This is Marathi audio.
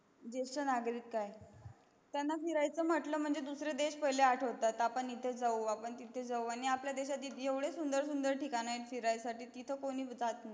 जेस्ट नागरिक काय त्यांना फिरायच म्हटल की त्यांना दुसरे देश पहिले आठवतात आपण इथे जाऊ तिथे जाऊ आणि आपल्या देशयाचे एवढे सुंदर सुंदर ठिकाण आहेत तित कोणीच जात नाही